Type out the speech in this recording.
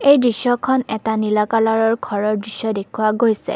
এই দৃশ্যখন এটা নীলা কালাৰৰ ঘৰৰ দৃশ্য দেখুওৱা হৈছে।